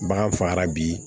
Bagan fagara bi